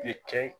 I kɛ